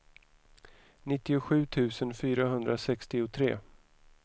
nittiosju tusen fyrahundrasextiotre